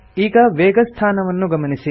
ಈಗ ವೇಗಸ್ಥಾನವನ್ನು ಗಮನಿಸಿ